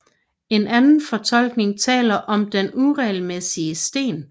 En anden tolkning taler om den uregelmæssige sten